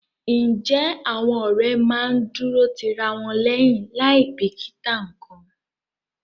Ǹjẹ́ àwọn ọ̀rẹ́ máa ń dúró ti ra wọn lẹ́yìn láì bìkítà nǹkan?